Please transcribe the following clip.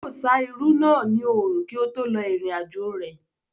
Yóò sá irú náà ní òrùn kí ó tó lọ ìrìn àjò rẹ̀